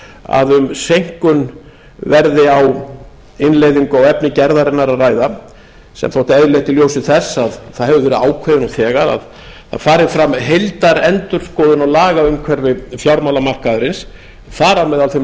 að um seinkun verði á innleiðingu á efni gerðarinnar að ræða sem þótti eðlilegt í ljósi þess að það hefði verið ákveðið nú þegar að það fari fram heildarendurskoðun á lagaumhverfi fjármálamarkaðarins þar á meðal þeim